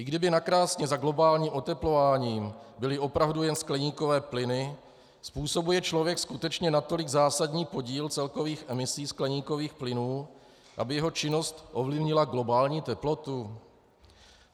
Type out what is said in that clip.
I kdyby nakrásně za globálním oteplováním byly opravdu jen skleníkové plyny, způsobuje člověk skutečně natolik zásadní podíl celkových emisí skleníkových plynů, aby jeho činnost ovlivnila globální teplotu?